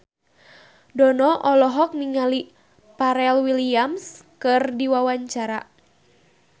Dono olohok ningali Pharrell Williams keur diwawancara